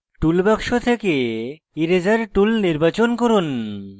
toolbox থেকে eraser tool নির্বাচন করুন